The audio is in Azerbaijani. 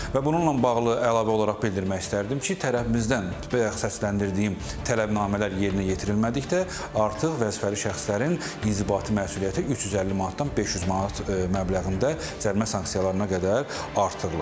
Və bununla bağlı əlavə olaraq bildirmək istərdim ki, tərəfimizdən bayaq səsləndirdiyim tələbnamələr yerinə yetirilmədikdə artıq vəzifəli şəxslərin inzibati məsuliyyəti 350 manatdan 500 manat məbləğində cərimə sanksiyalarına qədər artırılır.